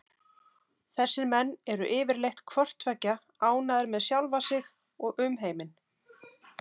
Þessir menn eru yfirleitt hvort tveggja ánægðir með sjálfa sig og umheiminn.